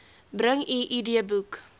bring u idboek